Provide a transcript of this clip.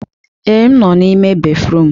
Ee, m nọ n'ime béfrụm.